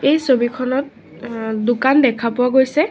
এই ছবিখনত অ আ দোকান দেখা পোৱা গৈছে।